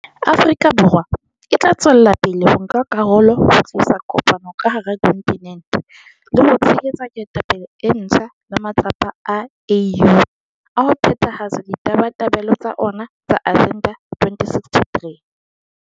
Afrika Borwa e tla tswela pele ho nka karolo ho tlisa kopano ka hara kontinente, le ho tshehetsa ketapele e ntjha le matsapa a AU a ho phethahatsa ditabatabelo tsa ona tsa Agenda 2063.